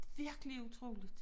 Virkelig utroligt